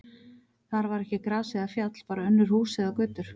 Þar var ekki gras eða fjall, bara önnur hús og götur.